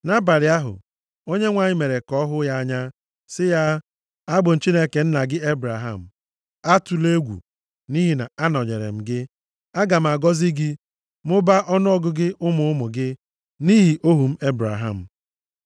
Nʼabalị ahụ, Onyenwe anyị mere ka ọ hụ ya anya, sị ya, “Abụ m Chineke nna gị Ebraham. Atụla egwu, nʼihi na anọnyere m gị, aga m agọzi gị, mụbaa ọnụọgụgụ ụmụ ụmụ gị nʼihi ohu m Ebraham.”